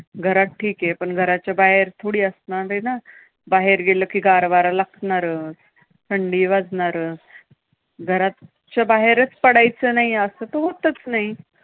घरात ठीके! पण घराच्या बाहेर थोडी असणारेना, बाहेर गेलं कि गार वारा लागणारच, थंडी वाजणारच. घराच्या बाहेरच पडायचं नाही, असं तर होतंच नाही.